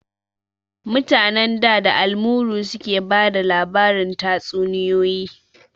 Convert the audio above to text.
Mutanen da, da almuru suke bada labarin tatsuniyoyi